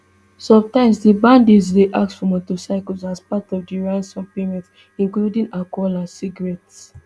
sometimes di bandits dey ask for motorcycles as part of di ransom payment including alcohol and cigarettes